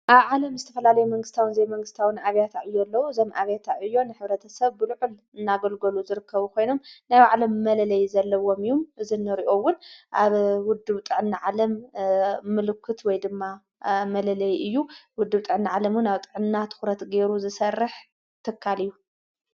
ኣብ ዓለም ዝተፈላለይ መንግሥታውን ዘይመንግሥታውን ኣብያታ እዩ ኣለዉ ዘም ኣብያታዕ እዮን ኅብረተ ሰብ ብሉዕል እናገልገሉ ዝርከቡ ኾይኖም ናይ ዓለም መለለይ ዘለዎም እዩም። ዝነርእኦውን ኣብ ውድውጠን ዓለም ምሉክት ወይ ድማ መለለይ እዩ ውድውጠዕኒ ዓለምን ኣብጥዕና ትዂረት ገይሩ ዝሠርሕ ትካል እዩ።